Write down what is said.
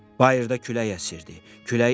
Bayırda külək əsirdi.